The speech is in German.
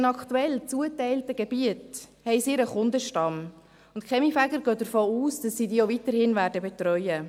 In den aktuell zugeteilten Gebieten haben die Kaminfeger ihren Kundenstamm und gehen davon aus, dass sie diesen auch weiterhin betreuen werden.